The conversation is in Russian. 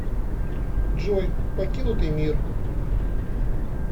джой покинутый мир